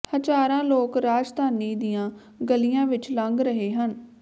ਹਜ਼ਾਰਾਂ ਲੋਕ ਰਾਜਧਾਨੀ ਦੀਆਂ ਗਲੀਆਂ ਵਿਚ ਲੰਘ ਰਹੇ ਹਨ